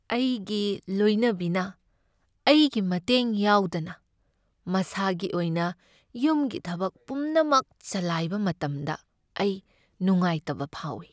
ꯑꯩꯒꯤ ꯂꯣꯏꯅꯕꯤꯅ ꯑꯩꯒꯤ ꯃꯇꯦꯡ ꯌꯥꯎꯗꯅ ꯃꯁꯥꯒꯤ ꯑꯣꯏꯅ ꯌꯨꯝꯒꯤ ꯊꯕꯛ ꯄꯨꯝꯅꯃꯛ ꯆꯂꯥꯏꯕ ꯃꯇꯝꯗ ꯑꯩ ꯅꯨꯉꯥꯏꯇꯕ ꯐꯥꯎꯏ ꯫